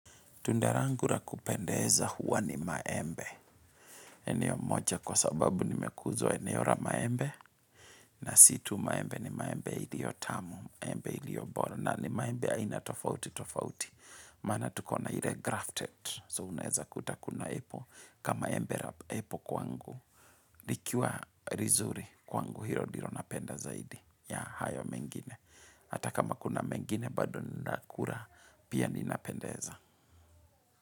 Tunda langu la kupendeza huwa ni maembe. Eneo moja kwa sababu nimekuzwa eneo la maembe. Na si tu maembe ni maembe iliyo tamu, maembe ilio bora. Na ni maembe aina tofauti tofauti. Maana tukona ile grafted. So unezakuta kuna apple kama embe la apple kwangu. Likiwa lizuri kwangu hilo ndilo napenda zaidi. Ya hayo mengine. Hata kama kuna mengine bado ninakula pia ninapendeza.